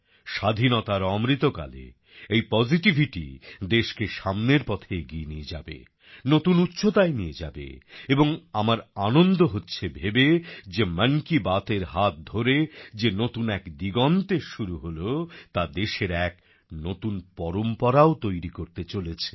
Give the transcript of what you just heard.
স্বাধীনতার অমৃতকালে এই পসিটিভিটিই দেশকে সামনের পথে এগিয়ে নিয়ে যাবে নতুন উচ্চতায় নিয়ে যাবে এবং আমার আনন্দ হচ্ছে ভেবে যে মন কি বাতের হাত ধরে যে নতুন এক দিগন্তের শুরু হল তা দেশের এক নতুন পরম্পরাও তৈরি করতে চলেছে